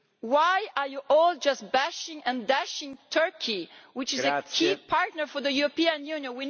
Why are you all just bashing and dashing Turkey, which is a key partner for the European Union?